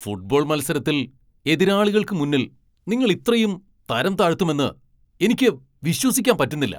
Football മത്സരത്തിൽ എതിരാളികൾക്ക് മുന്നിൽ നിങ്ങൾ ഇത്രയും തരംതാഴ്ത്തുമെന്ന് എനിക്ക് വിശ്വസിക്കാൻ പറ്റുന്നില്ല.